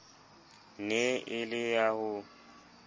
ne e le ya ho